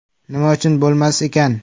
Nima uchun bo‘lmas ekan?